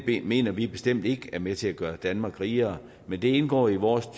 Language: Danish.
mener vi bestemt ikke er med til at gøre danmark rigere men det indgår i vores